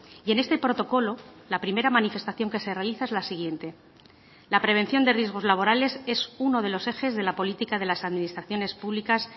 y en este protocolo la primera manifestación que se realiza es la siguiente la prevención de riesgos laborales es uno de los ejes de la política de las administraciones públicas